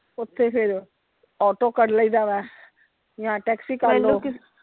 ਓਥੇ ਫਿਰ auto ਕਰ ਲਾਇਦਾ ਵਾ ਜਾਂ taxi ਕਰਲੋ।